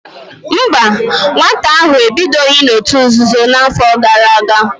Mba, nwata ahụ ebidoghị n'òtù nzuzo n'afọ gara aga